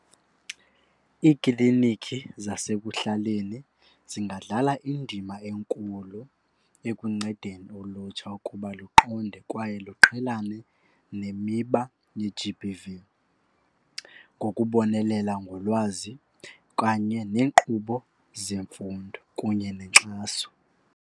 Iiklinikhi zasekuhlaleni zingadlala indima enkulu ekuncedeni ulutsha ukuba luqonde kwaye luqhelane nemiba ye-G_B_V ngokubonelela ngolwazi kanye neenkqubo zemfundo kunye nenkxaso.